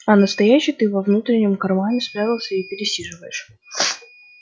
а настоящий ты во внутреннем кармане спрятался и пересиживаешь